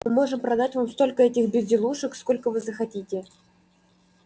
мы можем продать вам столько этих безделушек сколько вы захотите